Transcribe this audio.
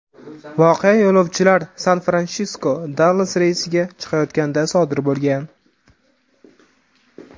Voqea yo‘lovchilar San-Fransisko–Dallas reysiga chiqayotganida sodir bo‘lgan.